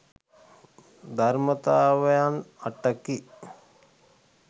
ධර්මතාවයන් අටකි.